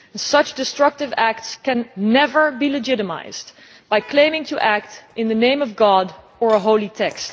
Such destructive acts can never be legitimised by claiming to act in the name of God or a holy text.